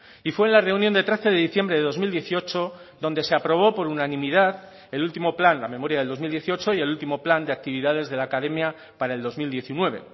y fue la reunión de trece de diciembre de dos mil dieciocho donde se aprobó por unanimidad el último plan la memoria del dos mil dieciocho y el último plan de actividades de la academia para el dos mil diecinueve